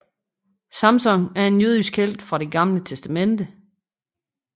Samson er en jødisk helt fra Det Gamle Testamente